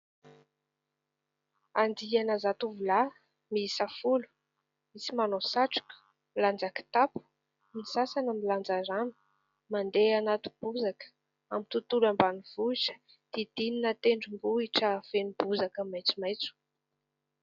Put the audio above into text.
Andiana zatovolahy miisa folo. Misy manao satroka, milanja kitapo, ny sasany milanja rano. Mandeha anaty bozaka amin'ny tontolo ambanivohitra, didinina tendrombohitra feno bozaka maitsomaitso.